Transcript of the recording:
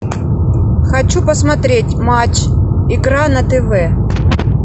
хочу посмотреть матч игра на тв